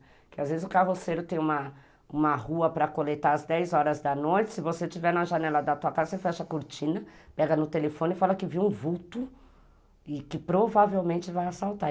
às vezes o carroceiro tem uma uma rua para coletar às dez horas da noite, se você estiver na janela da tua casa, você fecha a cortina, pega no telefone e fala que viu um vulto e que provavelmente vai assaltar.